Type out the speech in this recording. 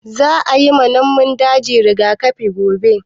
Za a yi ma namun daji rigakafi gobe